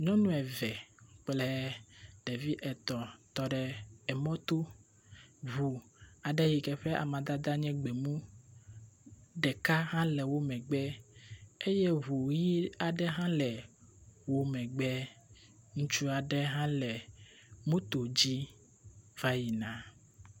Nyɔnu eve kple ɖevi etɔ̃ tɔ ɖe mɔto. Ŋu aɖe yi ke ƒe amadada nye gbemu ɖeka hã le wo megbe eye ŋu ʋi aŋe hã le wo megbe. Ŋutsu aɖe hã le moto di va yi na.